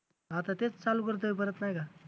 आता तेच चालू करतोय परत नाही का